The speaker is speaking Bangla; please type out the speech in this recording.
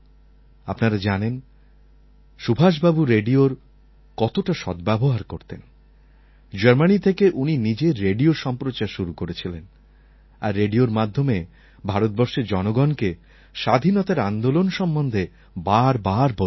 আপনারা জানেন সুভাষবাবু রেডিওর কতটা সদ্ব্যবহার করতেন জার্মানি থেকে উনি নিজের রেডিও সম্প্রচার শুরু করেছিলেন আর রেডিওর মাধ্যমে ভারতবর্ষের জনগণকে স্বাধীনতার আন্দোলন সম্বন্ধে বারবার বলতেন